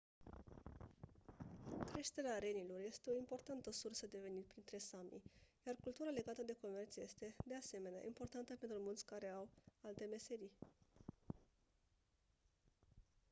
creșterea renilor este o importantă sursă de venit printre sami iar cultura legată de comerț este de asemenea importantă pentru mulți care au alte meserii